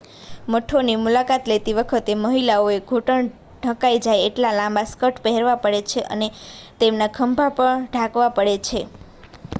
મઠોની મુલાકાત લેતી વખતે મહિલાઓએ ઘૂંટણ ઢંકાય જાય એટલા લાંબા સ્કર્ટ પહેરવા પડે છે અને તેમના ખભા પણ ઢાંકવા પડે છે